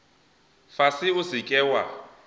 fase o se ke wa